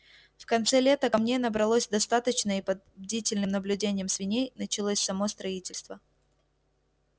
в конце лета камней набралось достаточно и под бдительным наблюдением свиней началось само строительство